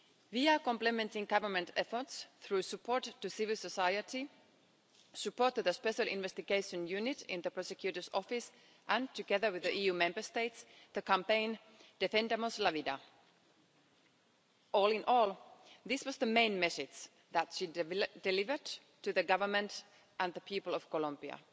We are complementing government efforts through support to civil society, and have supported a special investigation unit in the Prosecutor's Office and, together with the EU Member States, the campaign Defendamos la vida' All in all, this was the main message that she delivered to the Government and the people of Colombia